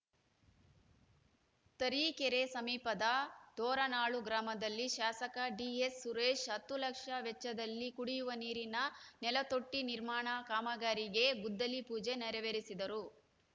ತರೀಕೆರೆ ಸಮೀಪದ ದೋರನಾಳು ಗ್ರಾಮದಲ್ಲಿ ಶಾಸಕ ಡಿಎಸ್‌ ಸುರೇಶ್‌ ಹತ್ತು ಲಕ್ಷ ವೆಚ್ಚದಲ್ಲಿ ಕುಡಿಯುವ ನೀರಿನ ನೆಲತೊಟ್ಟಿನಿರ್ಮಾಣ ಕಾಮಗಾರಿಗೆ ಗುದ್ದಲಿ ಪೂಜೆ ನೆರವೇರಿಸಿದರು